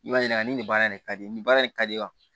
I b'a ɲininka nin baara in ka di nin baara in ka di wa